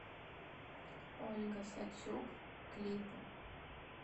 ольга сацюк клипы